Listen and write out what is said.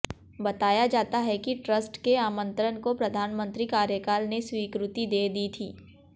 बताया जाता है कि ट्रस्ट के आमंत्रण को प्रधानमंत्री कार्यकाल ने स्वीकृति दे दी थी